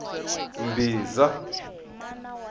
mbhiza